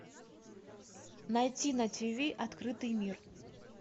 найти на тиви открытый мир